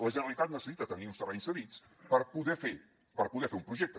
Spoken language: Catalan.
la generalitat necessita tenir uns terrenys cedits per poder fer per poder fer un projecte